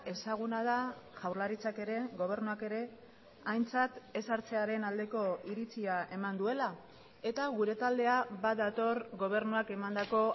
ezaguna da jaurlaritzak ere gobernuak ere aintzat ez hartzearen aldeko iritzia eman duela eta gure taldea badator gobernuak emandako